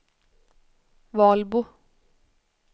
Valbo